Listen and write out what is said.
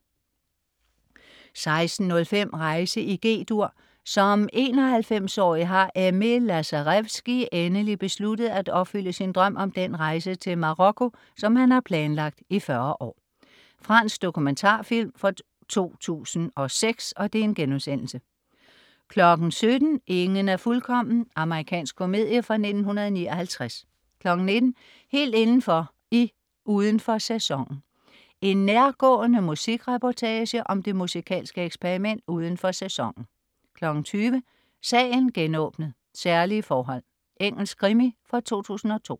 16.05 Rejse i G-dur. Som 91-årig har Aimé Lazarevski endelig besluttet at opfylde sin drøm om den rejse til Marokko, som han har planlagt i 40 år. Fransk dokumentarfilm fra 2006* 17.00 Ingen er fuldkommen. Amerikansk komedie fra 1959 19.00 Helt indenfor i "Uden for Sæsonen". En nærgående musikreportage om det musikalske eksperiment "Uden for Sæsonen" 20.00 Sagen genåbnet: Særlige forhold. Engelsk krimi fra 2002